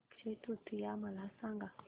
अक्षय तृतीया मला सांगा